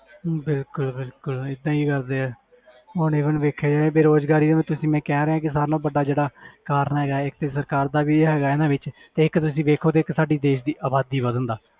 ਬਿਲਕੁਲ ਬਿਲਕੁਲ ਏਦਾਂ ਹੀ ਕਰਦੇ ਹੈ ਹੁਣ even ਵੇਖਿਆ ਜਾਏ ਬੇਰੁਜ਼ਗਾਰੀ ਉਹੀ ਤੇ ਮੈਂ ਕਹਿ ਰਿਹਾਂ ਕਿ ਸਭ ਨਾਲੋਂ ਵੱਡਾ ਜਿਹੜਾ ਕਾਰਨ ਹੈਗਾ ਇੱਕ ਤੇ ਸਰਕਾਰ ਦਾ ਵੀ ਹੈਗਾ ਇਹਨਾਂ ਵਿੱਚ ਤੇ ਇੱਕ ਤੁਸੀਂ ਵੇਖੋ ਤੇ ਇੱਕ ਸਾਡੀ ਦੇਸ ਦੀ ਆਬਾਦੀ ਵੱਧਣ ਦਾ